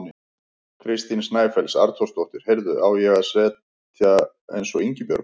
Kristín Snæfells Arnþórsdóttir: Heyrðu, á ég að segja eins og Ingibjörg?